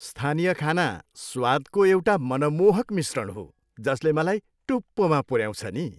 स्थानीय खाना स्वादको एउटा मनमोहक मिश्रण हो जसले मलाई टुप्पोमा पुऱ्याउँछ नि।